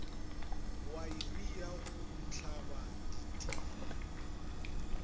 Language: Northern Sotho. waere ya go tlhaba dithini